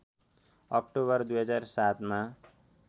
October २००७ मा